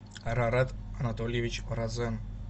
арарат анатольевич розен